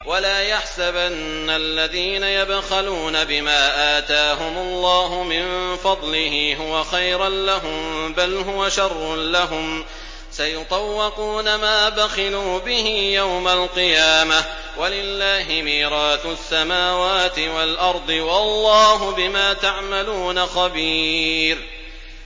وَلَا يَحْسَبَنَّ الَّذِينَ يَبْخَلُونَ بِمَا آتَاهُمُ اللَّهُ مِن فَضْلِهِ هُوَ خَيْرًا لَّهُم ۖ بَلْ هُوَ شَرٌّ لَّهُمْ ۖ سَيُطَوَّقُونَ مَا بَخِلُوا بِهِ يَوْمَ الْقِيَامَةِ ۗ وَلِلَّهِ مِيرَاثُ السَّمَاوَاتِ وَالْأَرْضِ ۗ وَاللَّهُ بِمَا تَعْمَلُونَ خَبِيرٌ